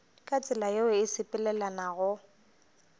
ka tsela yeo e sepelelanago